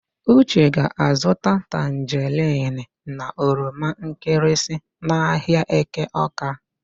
Uche ga-azụta tanjerịn na oromankịrịsị n'ahịa Eke Ọ́ká.